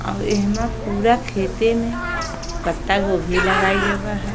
और एहमा पूरा खेते में पता गोभी लगाइल गबा हय।